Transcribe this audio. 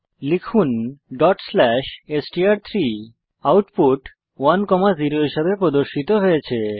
লিখুন str3ডট স্লেস এসটিআর3 আউটপুট 10 হিসাবে প্রদর্শিত হয়েছে